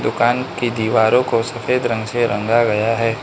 दुकान की दीवारों को सफेद रंग से रंगा गया है।